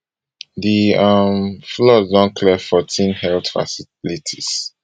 di um flood don clear fourteen health facilitates